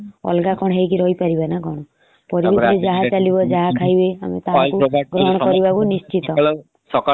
କଣ କରିବା ଆଉ ପରିବେଶ ଯେମତି ଚାଲିଛି ପରିବେଶ ସହ ଆମକୁ ବି ଚଳିବାକୁ ପଡିବ ନା। ଆଉ ଭିନ୍ନ ହେଇପାରିବା କି ତାଙ୍କ ଠୁ ଆମେ ଅଲଗାହେଇ ରହି ପାରିବ ନ କଣ। ପରିବେଶରେ ଯାହା ଚାଲିବ ଯାହା ଖାଇବେ ଆମେ ଗ୍ରହଣ କରିବାକୁ ନିଶ୍ଚିନ୍ତ।